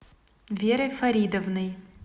верой фаридовной